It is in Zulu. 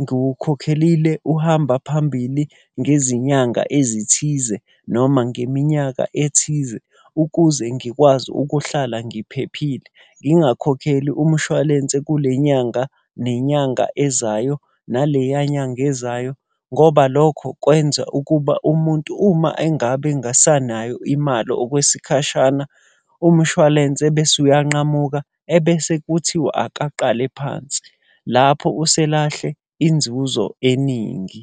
ngiwukhokhelile uhamba phambili ngezinyanga ezithize noma ngeminyaka ethize, ukuze ngikwazi ukuhlala ngiphephile. Ngingakhokheli umshwalense kule nyanga, nenyanga ezayo, naleya nyanga ezayo. Ngoba lokho kwenza ukuba umuntu uma engabe engasanayo imali okwesikhashana, umshwalense ebese uyanqamuka, ebese kuthiwu akaqale phansi. Lapho uselahle inzuzo eningi.